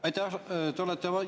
Aitäh!